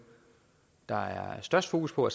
der er størst fokus på